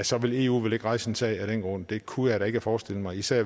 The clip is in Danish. så vil eu vel ikke rejse en sag af den grund det kunne jeg da ikke forestille mig især